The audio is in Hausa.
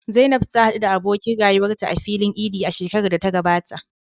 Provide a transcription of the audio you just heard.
Zainab ta haɗu da abokin rayuwarta a filin Idi a shekarar da ta gabata.